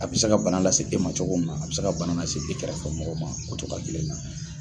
A be se ka bana lase e ma cogo min na a be se ka bana lase e kɛrɛfɛ mɔgɔ ma o togoya kelen na